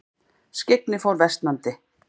Skyggni fór versnandi.